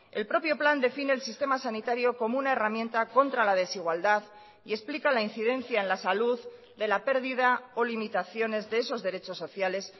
el propio plan define el sistema sanitario como una herramienta contra la desigualdad y explica la incidencia en la salud de la pérdida o limitaciones de esos derechos sociales